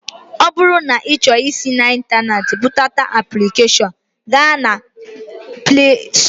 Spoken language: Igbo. Ọ bụrụ na ị chọrọ isi n'Ịntaneetị bụdata aplikeshọn, gaa na Plee Stọọ